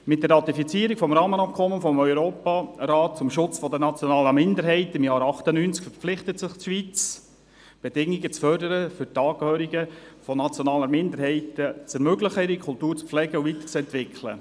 Mit der Ratifizierung des Rahmenübereinkommens des Europarats zum Schutz nationaler Minderheiten im Jahr 1998 verpflichtete sich die Schweiz, die Bedingungen für Angehörige nationaler Minderheiten zur Pflege und Weiterentwicklung ihre Kultur zu fördern.